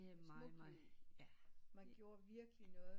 Man gjorde virkelig noget